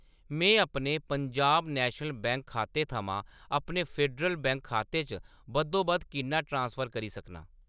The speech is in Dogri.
मैं अपने पंजाब नैशनल बैंक खाते थमां अपने फेडरल बैंक खाते च बद्धोबद्ध किन्ना ट्रांसफर करी सकनां ?